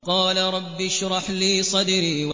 قَالَ رَبِّ اشْرَحْ لِي صَدْرِي